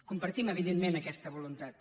compartim evidentment aquesta voluntat